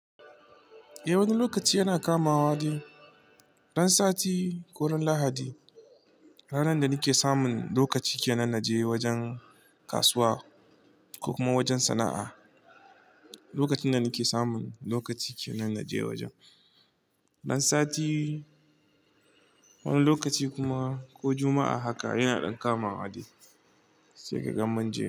Eh, wani lokaci yana kamawa dai Ran sati ko ran lahadi, ranan da ni ke samun lokaci ke nan na je wajen kasuwa ko kuma wajen sana'a. Lokacin da ni ke samun lokaci ke nan na je wajen. Ran sati wani lokaci kuma ko juma'a haka yana ɗan kamawa dai sai ka ga munje.